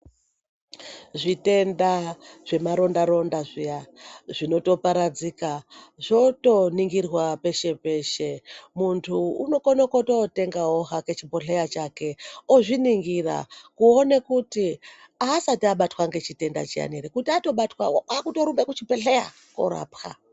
Zvitenda zvemaronda-ronda zviya zvinotoparadzika zvotoningirwa peshe-peshe. Muntu unokona kotootengawo hake chibhodhleya chake ozviningira kuone kuti asati abatwa ngechitenda chiyani ere kuti atobatwa otorumba kuchibhedhleya koorapwa.